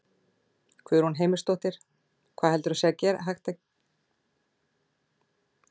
Guðrún Heimisdóttir: Hvað heldurðu að sé hægt að gera í þessu?